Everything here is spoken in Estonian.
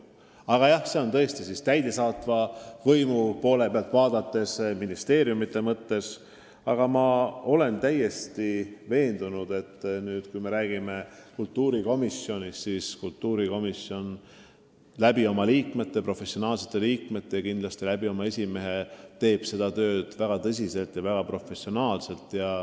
Aga jah, täidesaatva võimu esindajana ma olen täiesti veendunud, et kui me räägime kultuurikomisjonist, siis kultuurikomisjoni esimees ja teised selle professionaalsed liikmed teevad oma tööd väga tõsiselt ja väga professionaalselt.